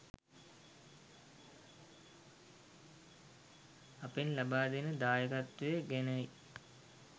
අපෙන් ලබා දෙන දායකත්වය ගැනයි.